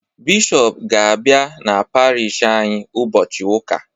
Bishọp ga-abịa n'Parish anyị ụbọchị Ụka.